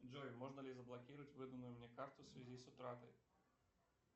джой можно ли заблокировать выданную мне карту в связи с утратой